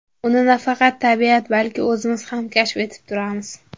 Uni nafaqat tabiat, balki o‘zimiz ham kashf etib turamiz.